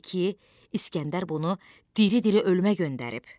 Bildi ki, İsgəndər bunu diri-diri ölməyə göndərib.